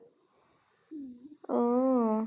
উম অহ